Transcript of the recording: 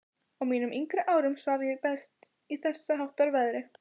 Á mínum yngri árum svaf ég best í þessháttar veðri.